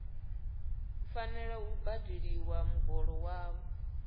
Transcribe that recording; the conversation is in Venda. fanela u badeliwa muholo wavho